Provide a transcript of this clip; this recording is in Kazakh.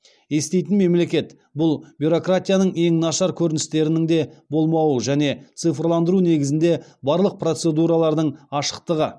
еститін мемлекет бұл бюрократияның ең нашар көріністерінің де болмауы және цифрландыру негізінде барлық процедуралардың ашықтығы